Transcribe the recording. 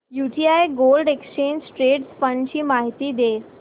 UTI gold exchange traded fund ची माहिती दे